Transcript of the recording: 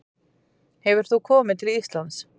Hefur þú komið til Íslands?